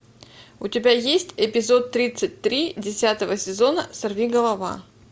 у тебя есть эпизод тридцать три десятого сезона сорви голова